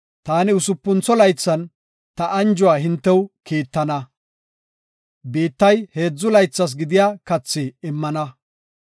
taani usupuntho laythan ta anjuwa hintew kiittana; biittay heedzu laythas gidiya kathi immana.